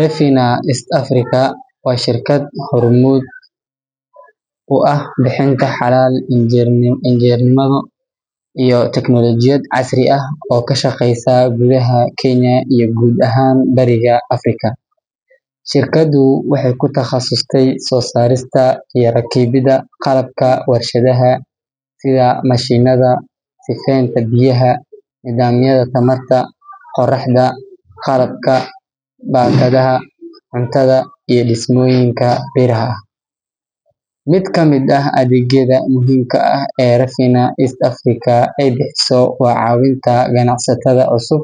Refinar East Africa waa shirkad hormuud u ah bixinta xalal injineernimo iyo tiknoolajiyad casri ah oo ka shaqeysa gudaha Kenya iyo guud ahaan Bariga Afrika. Shirkaddu waxay ku takhasustay soo saarista iyo rakibidda qalabka warshadaha sida mashiinnada sifeynta biyaha, nidaamyada tamarta qoraxda, qalabka baakadaha cuntada, iyo dhismooyinka biraha ah. Mid ka mid ah adeegyada muhiimka ah ee Refinar East Africa ay bixiso waa caawinta ganacsatada cusub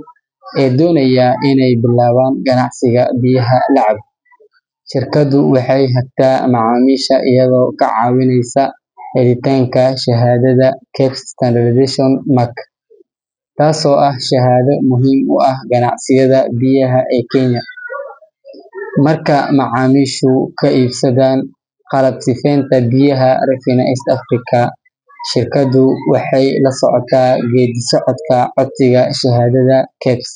ee doonaya inay bilaabaan ganacsiga biyaha la cabo. Shirkaddu waxay hagtaa macaamiisha iyada oo ka caawinaysa helitaanka shahaadada KEBS Standardization Mark, taasoo ah shahaado muhim u ah ganacsiyada biyaha ee Kenya. Marka macaamiishu ka iibsadaan qalab sifeynta biyaha Refinar East Africa, shirkaddu waxay la socotaa geeddi-socodka codsiga shahaadada KEBS,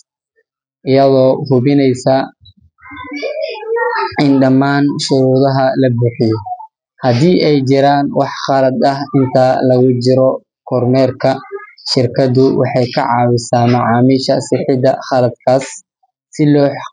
iyadoo hubinaysa in dhammaan shuruudaha la buuxiyo. Haddii ay jiraan wax khaladaad ah inta lagu jiro kormeerka, shirkaddu waxay ka caawisaa macaamiisha sixidda khaladaadkaas si loo.